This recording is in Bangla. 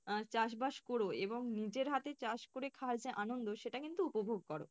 আহ চাষবাস করো এবং নিজের হাতে চাষ করে খাওয়ার যা আনন্দ সেটা কিন্তু উপভোগ করো।